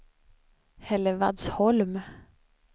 Hällevadsholm